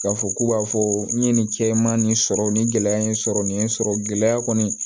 K'a fɔ k'u b'a fɔ n ye nin cɛ ma nin sɔrɔ nin gɛlɛya in sɔrɔ nin ye sɔrɔ gɛlɛya kɔni